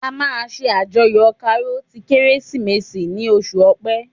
A máa ṣe àjọyọ̀ Karo ti Kérésìmesì ni oṣù ọpẹ